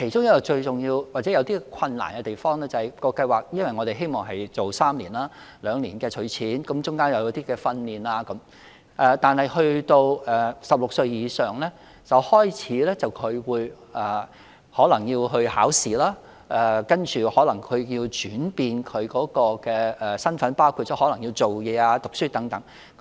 當中最重要或有困難的地方在於，因為我們希望計劃為期3年，兩年儲蓄，其間亦提供一些訓練，但當兒童年滿16歲時，便可能開始參與考試，然後身份有所轉變，包括工作或繼續求學等。